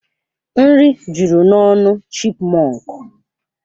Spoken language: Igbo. Nri juru n'ọnụ chipmọnkụ.